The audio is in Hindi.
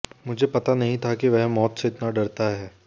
मुझे पता नहीं था कि वह मौत से इतना डरता है